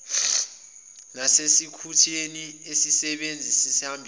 nasekutheni isisebenzi sihambisane